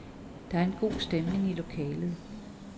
Der er en god stemning i lokalet.